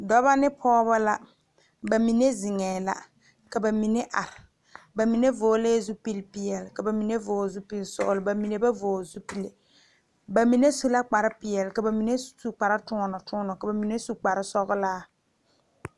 Dɔbɔ ne pɔɔbɔ la ba mine zeŋɛɛ la ka ba mine are ba mine vɔglɛɛ zupilpeɛle ka ba mine vɔgle zupilsɔglɔ ba mine ba vɔgle zupile ba mine su la kparepeɛle ka ba mine su kpare toɔnɔ toɔnɔ ka ba mine su kparesɔglaa.